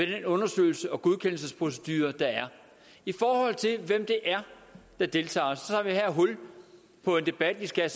den undersøgelses og godkendelsesprocedure der er i forhold til hvem det er der deltager tager vi her hul på en debat vi skal